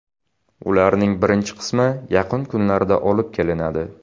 Ularning birinchi qismi yaqin kunlarda olib kelinadi.